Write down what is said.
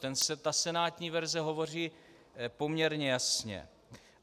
Ta senátní verze hovoří poměrně jasně.